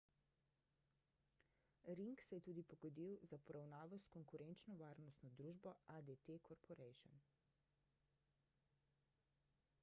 ring se je tudi pogodil za poravnavo s konkurenčno varnostno družbo adt corporation